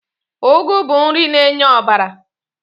Ụgụ bụ nri na-enye ọbara.